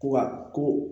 Ko wa ko